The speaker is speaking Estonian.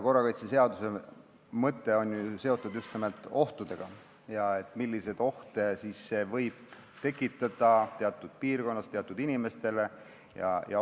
Korrakaitseseaduse mõte on ju seotud just nimelt ohtudega, sellega, milliseid ohte võib see teatud piirkonnas teatud inimestele tekitada.